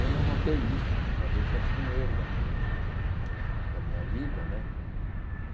Eu não notei isso, talvez tenha sido um erro da minha da minha vida, né?